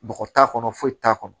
Bɔgɔ t'a kɔnɔ foyi t'a kɔnɔ